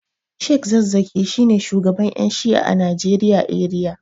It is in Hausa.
sheikh zakkaki shine shugaban Yan shi'a a Najeriya eriya.